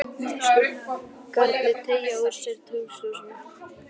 Skuggarnir teygja úr sér í tunglsljósinu.